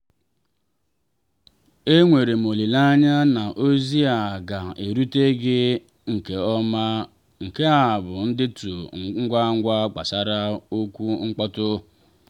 e nwerem olileanya na ozi a ga-erute gị nke ọma; nke a bụ ndetu ngwa ngwa gbasara ọkwa mkpọtụ.